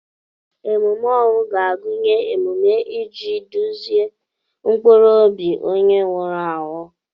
Emume ọnwụ ga-agụnye emume iji duzie mkpụrụ obi onye nwụrụ anwụ.